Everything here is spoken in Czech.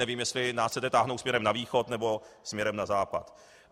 Nevím, jestli nás chcete táhnout směrem na východ, nebo směrem na západ.